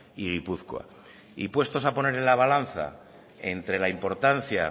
y gipuzkoa y puestos a poner en la balanza entre la importancia